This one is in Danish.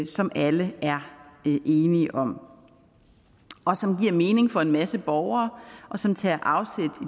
som alle er enige om og som giver mening for en masse borgere og som tager afsæt